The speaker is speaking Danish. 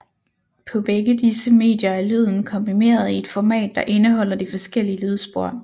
På begge disse medier er lyden komprimeret i et format der indeholder de forskellige lydspor